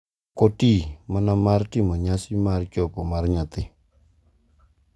Ok oti mana mar timo nyasi mar chopo mar nyathi.